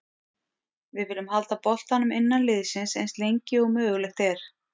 Við viljum halda boltanum innan liðsins eins lengi og mögulegt er.